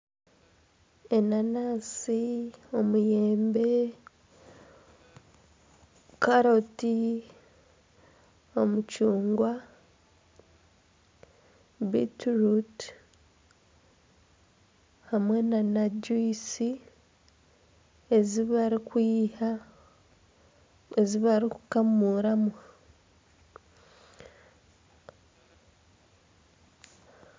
Enanansi, omuyembe, karoti, omucungwa, bitiruutu hamwe nana juyisi ezi barikwiha ezi barikukamuuramu.